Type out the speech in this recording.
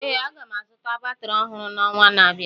Ee, aga m azụta batrị ọhụrụ n'ọnwa na-abịa